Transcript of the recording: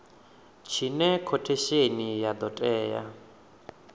tshine khothesheni ya do tea